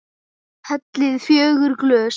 Hellið í fjögur glös.